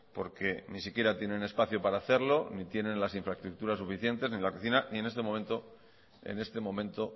porque ni si quieran tienen espacio para hacerlo ni tienen las infraestructuras suficientes ni la cocina ni en este momento